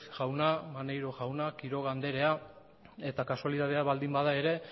jauna maneiro jauna quiroga andrea eta kasualitatea baldin bada ere